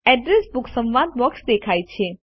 address book સંવાદ box દેખાય છે